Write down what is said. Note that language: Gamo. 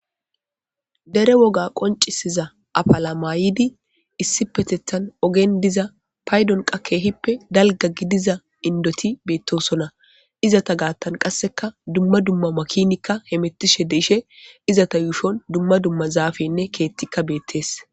dere woga qoncisiza afala mayidi issi petethan ogen diza paydonqa keehippe dalga gidiza indoti beettosonna izata gaattan qasseka dumma dumma makinikka hemettishe deishe izata yuushon dumma dumma zaafenne keettikka beettees